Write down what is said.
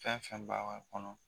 Fɛn fɛn b'a kɔnɔ